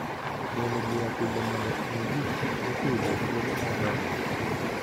Golo buya pile mondo omi gik moPidhoo thuolo mar dongo